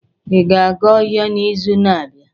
Ị ga-aga ọhịa n'izu na-abịa?